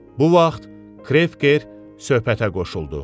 Bu vaxt Krefger söhbətə qoşuldu.